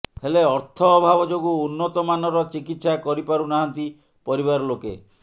ହେଲେ ଅର୍ଥ ଅଭାବ ଯୋଗୁଁ ଉନ୍ନତ ମାନର ଚିକିତ୍ସା କରିପାରୁ ନାହାନ୍ତି ପରିବାର ଲୋକେ